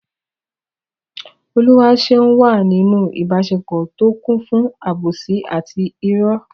Oluwaseun wà nínú ìbáṣepọ̀ tó kún fún àbòsí àti ìrọ́.